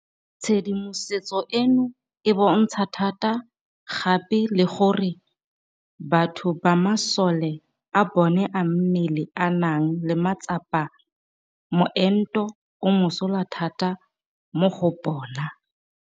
Tshedimosetso eno e bontsha thata gape le gore batho ba masole a bona a mmele a nang le matsapa moento o mosola thata mo go bona.